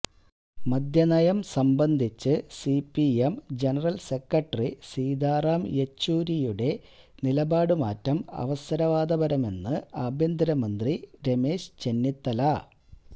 മദ്യനയം സംബന്ധിച്ച് C P M general secretary Sitaram യെച്ചൂരിയുടെ നിലപാട് മാറ്റം അവസരവാദപരമെന്ന് ആഭ്യന്തരമന്ത്രി രമേശ് ചെന്നിത്തല